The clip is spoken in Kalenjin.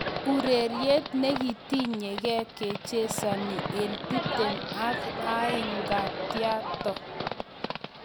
ureriet negiketyinkee kechesani en tiptem aka eng ng'aa-tyaato